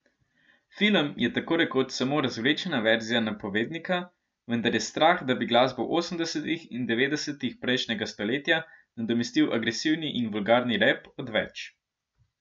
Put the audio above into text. Film je takorekoč samo razvlečena verzija napovednika, vendar je strah, da bi glasbo osemdesetih in devetdesetih prejšnjega stoletja nadomestil agresivni in vulgarni rap, odveč.